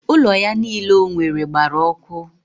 Ụlọ ya niile o nwere gbara ọkụ?